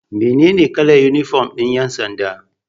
Mene ne kalar inifom ɗin ƴansanda?